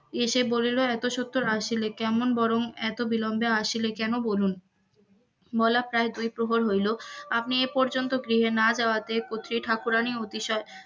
এসে বলিল এত সত্বর আসিল কেমন বরং এত বিলম্বে আসিলে কেন, বলুন বেলা প্রায় দুই প্রহর হইল আপনি এ পর্যন্ত গৃহে না যাওয়াতে কত্রী ঠাকুরানী এ বিষয়ে,